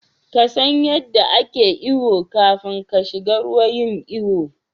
ƙasan yadda ake iyo kafin kashiga ruwa yin iyo